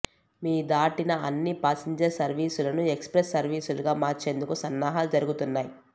మీ దాటిన అన్ని పాసింజర్ సర్వీసులను ఎక్స్ ప్రెస్ సర్వీసులుగా మార్చేందుకు సన్నాహాలు జరుగుతున్నాయి